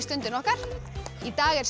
Stundina okkar í dag er